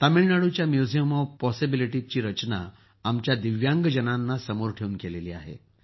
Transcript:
तामिळनाडूच्या museum of पॉसिबिलिटीजची रचना आमच्या दिव्यांगजनांना समोर ठेवून केली आहे